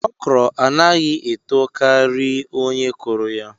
Okro anaghi eto kari onye kuru ya